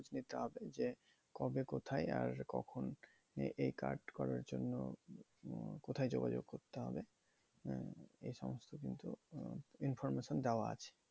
নিতে হবে যে, কবে কোথায় আর কখন মানে এই card করার জন্য কোথায় যোগাযোগ করতে হবে? উম এই সমস্ত কিন্তু information দেওয়া আছে।